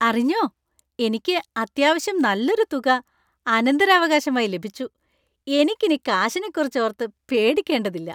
അറിഞ്ഞോ, എനിക്ക് അത്യാവശ്യം നല്ലൊരു തുക അനന്തരാവകാശമായി ലഭിച്ചു; എനിക്കിനി കാശിനെക്കുറിച്ചോർത്ത് പേടിക്കേണ്ടതില്ല.